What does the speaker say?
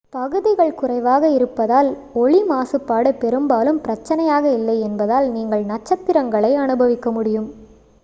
பகுதிகள் குறைவாக இருப்பதால் ஒளி மாசுப்பாடு பெரும்பாலும் பிரச்சனையாக இல்லை என்பதால் நீங்கள் நட்சத்திரங்களை அனுபவிக்க முடியும்